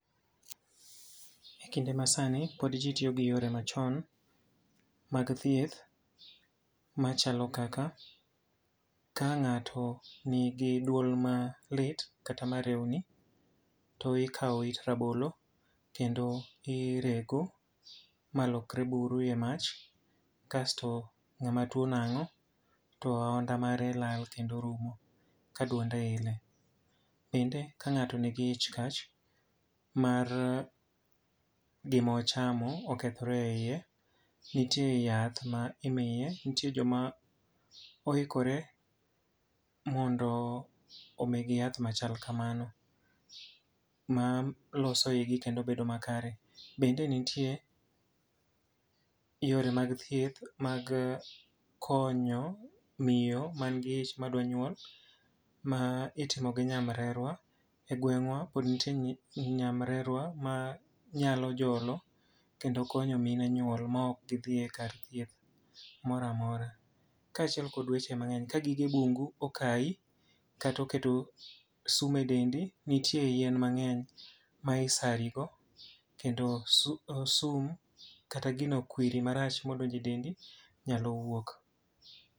E kinde ma sani pod ji tiyo gi yore machon mag thieth machalo kaka ka ng'ato nigi duol malit kata ma rewni. To ikawo it rabolo kendo i rego malokre buru e mach, kasto ng'ama tuo nang'o to aonda mare lal kendo rumo ka duonde ile. Bende ka ng'ato nigi ich kach mar gima ochamo okethore e iye, nitie yath ma imiye. Nitie joma oikore mondo omigi yath machal kamano, ma loso igi kendo bedo ma kare. Bende nitie yore mag thieth mag konyo miyo man gi ich madwa nyuol ma itimo gi nyamrerwa e gweng'wa. Pod nitie nyamrerwa ma nyalo jolo kendo konyo mine nyuol ma ok gidhiye kar thieth mora mora. Kaachiel kod weche mang'eny, ka gige bungu okayi katoketo sum e dendi, nitie yien mang'eny ma isari go. Kendo sum kata gino kwiri marach modonje dendi nyalo wuok.